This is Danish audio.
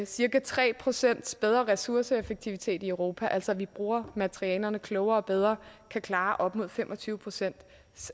cirka tre procent bedre ressourceeffektivitet i europa altså at vi bruger materialerne klogere og bedre kan klare op imod fem og tyve procent